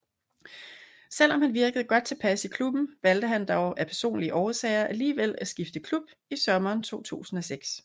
Selvom han virkede godt tilpas i klubben valgte han dog af personlige årsager alligevel at skifte klub i sommeren 2006